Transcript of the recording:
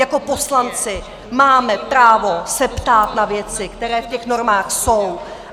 Jako poslanci máme právo se ptát na věci, které v těch normách jsou.